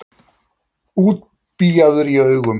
Útbíaður í augum.